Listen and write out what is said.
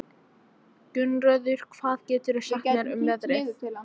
Gunnröður, hvað geturðu sagt mér um veðrið?